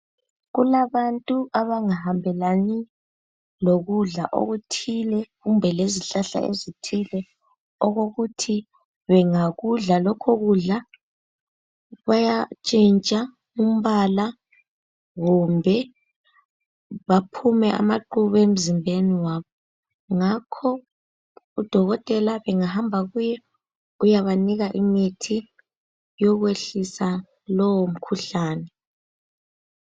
Kulabantu abangahambelani lokudla okuthile kumbe lezihlahla ezithile okokuthi bengakudla lokho kudla bayatshintsha umbala kumbe baphume amaqhubu emzimbeni wabo, ngakho udokotela bengahamba kuye uyabanika imithi yokwehlisa lowo mkhuhlane.